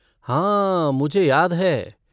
हाँ मुझे याद है।